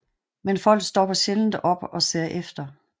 Men folk stopper sjældent op og ser efter